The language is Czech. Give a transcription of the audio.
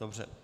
Dobře.